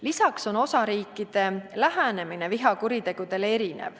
Lisaks on osariikide lähenemine vihakuritegudele erisugune.